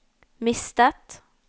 mistet